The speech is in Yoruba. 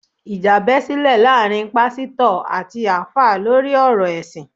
Ìjà bẹ́ sílẹ̀ láàárín Pásítọ̀ àti Alfa lórí ọ̀rọ̀ ẹ̀sìn